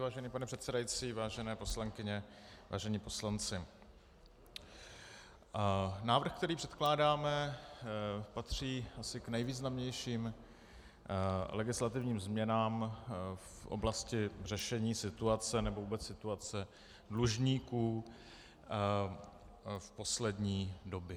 Vážený pane předsedající, vážené poslankyně, vážení poslanci, návrh který předkládáme, patří asi k nejvýznamnějším legislativním změnám v oblasti řešení situace nebo vůbec situace dlužníků v poslední době.